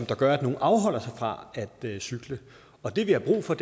der gør at nogle afholder sig fra at cykle og det vi har brug for